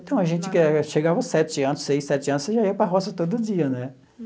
Então, a gente chegava aos sete anos, seis, sete anos, você já ia para a roça todo dia, né?